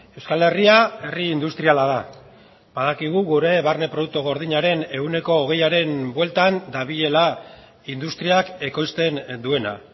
euskal herria herri industriala da badakigu gure barne produktu gordinaren ehuneko hogeiaren bueltan dabilela industriak ekoizten duena